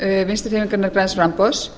þingmönnum vinstri hreyfingarinnar græns framboðs